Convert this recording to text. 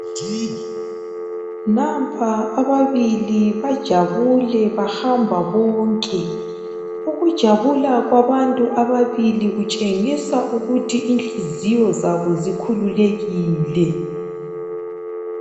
Nampa ababili bajabule bahamba bonke. Ukujabula kwabantu ababili kutshengisa ukuthi inhliziyo zabo zikhululekile.